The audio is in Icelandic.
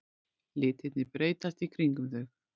Litirnir breytast í kringum þau.